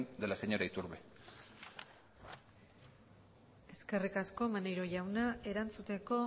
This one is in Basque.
de la señora iturbe eskerrik asko maneiro jauna erantzuteko